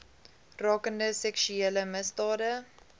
rakende seksuele misdade